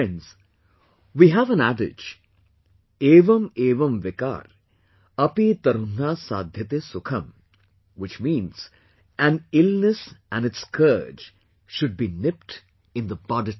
Friends, we have an adage" Evam Evam Vikar, api tarunha Saadhyate Sukham"... which means, an illness and its scourge should be nipped in the bud itself